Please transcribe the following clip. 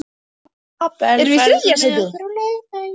Abel, ferð þú með okkur á laugardaginn?